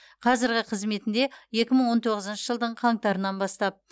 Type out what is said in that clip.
қазіргі қызметінде екі мың он тоғызыншы жылдың қаңтарынан бастап